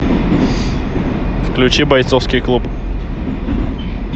включи бойцовский клуб